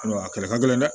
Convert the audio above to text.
A kɛlɛ ka gɛlɛn dɛ